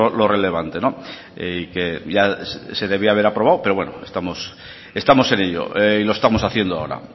lo relevante y que ya se debía haber aprobado pero bueno estamos en ello y lo estamos haciendo ahora